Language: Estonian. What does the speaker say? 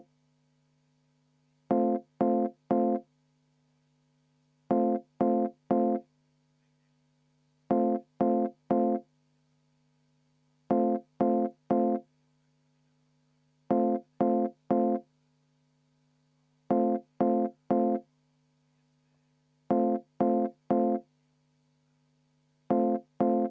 V a h e a e g